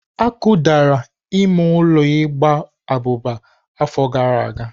Akụdara ime ụlọ igba abụba afọ gara aga.